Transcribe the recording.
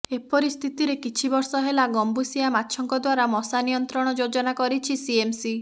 ଏପରି ସ୍ଥିତିରେ କିଛି ବର୍ଷ ହେଲା ଗମ୍ବୁସିଆ ମାଛଙ୍କ ଦ୍ବାରା ମଶା ନିୟନ୍ତ୍ରଣ ଯୋଜନା କରିଛି ସିଏମ୍ସି